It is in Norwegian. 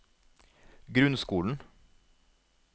grunnskolen